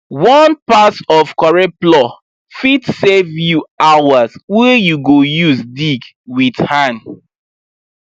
one pass of correct plow fit save you hours wey you go use dig with hand